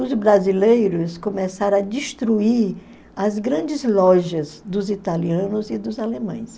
Os brasileiros começaram a destruir as grandes lojas dos italianos e dos alemães.